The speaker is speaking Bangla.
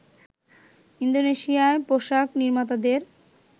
ইন্দোনেশিয়া পোশাক নির্মাতাদের